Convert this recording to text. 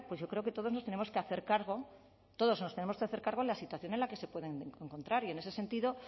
yo creo que todos nos tenemos que hacer cargo todos nos tenemos que hacer cargo en la situación en la que se pueden encontrar y en ese sentido